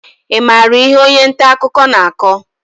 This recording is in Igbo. Ị maara ihe onye nta akụkọ na-akọ?